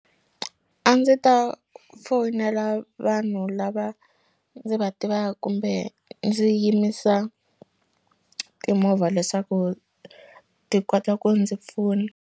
A ndzi ta fowunela vanhu lava ndzi va tiva kumbe ndzi yimisa timovha leswaku ti kota ku ndzi pfuna.